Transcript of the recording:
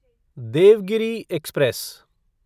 Devgiri express